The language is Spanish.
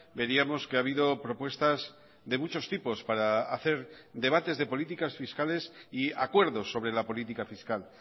veríamos que ha habido propuestas de muchos tipos para hacer debates de políticas fiscales y acuerdos sobre la política fiscal